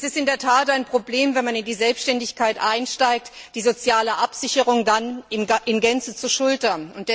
Es ist in der Tat ein Problem, wenn man in die Selbständigkeit einsteigt, die soziale Absicherung dann in Gänze zu schultern.